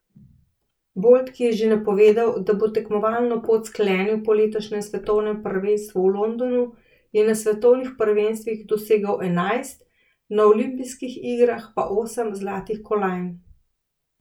Bolt, ki je že napovedal, da bo tekmovalno pot sklenil po letošnjem svetovnem prvenstvu v Londonu, je na svetovnih prvenstvih dosegel enajst, na olimpijskih igrah pa osem zlatih kolajn.